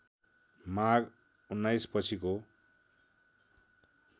माघ १९ पछिको